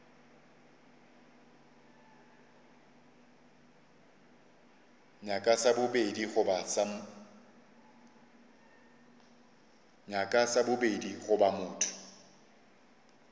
nyaka sa bobedi goba motho